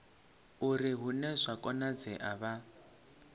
uri hune zwa konadzea vha